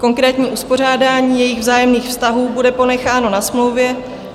Konkrétní uspořádání jejich vzájemných vztahů bude ponecháno na smlouvě.